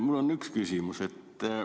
Mul on üks küsimus.